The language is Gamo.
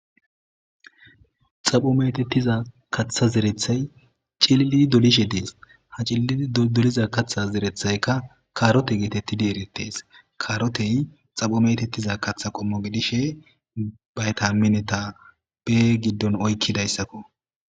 Xapho metettiza katha zerethay cililidi dolishe dees ha cillii doliza katha zerethaykka kaarote geetettidi eritees kaarotey xapho metettiza katha qommo gidishe bayta mineta bee giddon oykkidayssakko.